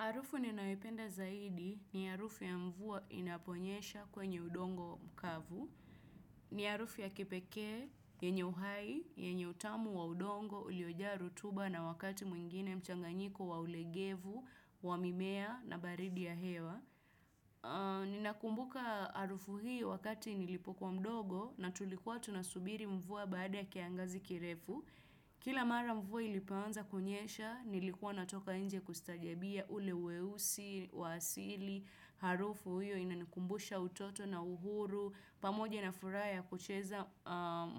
Arufu ninawipenda zaidi ni arufu ya mvua inaponyesha kwenye udongo mkavu. Ni arufu ya kipeke, yenye uhai, yenye utamu wa udongo ulioja rutuba na wakati mwingine mchanganyiko wa ulegevu, wamimea na baridi ya hewa. Ninakumbuka arufu hii wakati nilipokuwa mdogo na tulikuwa tunasubiri mvua baada ya kiangazi kirefu. Kila mara mvua ilipanza kunyesha, nilikuwa natoka nje kustajabia ule weusi, waasili, harufu uyo inanikumbusha utoto na uhuru, pamoja na furaha ya kucheza